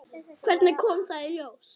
Hvernig kom það í ljós?